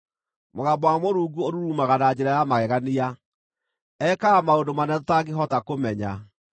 Mũgambo wa Mũrungu ũrurumaga na njĩra ya magegania; ekaga maũndũ manene tũtangĩhota kũmenya.